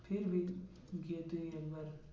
গিয়ে তুই একবার।